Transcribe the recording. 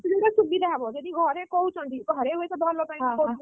ମୁଁ କହୁଥିଲି ସେ time ରେ ସୁବିଧା ହବ ଯଦି ଘରେ କହୁଛନ୍ତି, ଘରେ ତୋ ଭଲ ପାଇଁ ତ କହୁଛନ୍ତି ନା!